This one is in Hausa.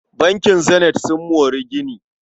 Bankin Zenith sun more gini.